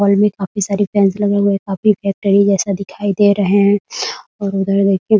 hall में काफी सारी फैंस लगे हुए है काफी फैक्ट्री जैसा दिखाई दे रहे है और उधर देखिये --